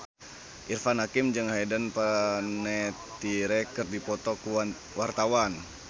Irfan Hakim jeung Hayden Panettiere keur dipoto ku wartawan